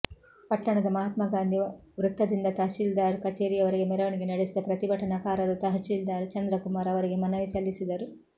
ಪಟ್ಟಣದ ಮಹಾತ್ಮಾ ಗಾಂಧಿ ವೃತ್ತದಿಂದ ತಹಶೀಲ್ದಾರ್ ಕಚೇರಿವರೆಗೆ ಮೆರವಣಿಗೆ ನಡೆಸಿದ ಪ್ರತಿಭಟನಾಕಾರರು ತಹಶೀಲ್ದಾರ್ ಚಂದ್ರಕುಮಾರ್ ಅವರಿಗೆ ಮನವಿ ಸಲ್ಲಿಸಿದರು